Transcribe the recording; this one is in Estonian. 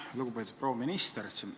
Lugupeetud proua minister!